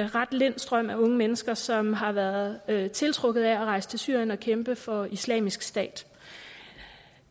en ret lind strøm af unge mennesker som har været været tiltrukket af at rejse til syrien og kæmpe for islamisk stat